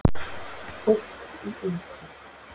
Fólk í eitri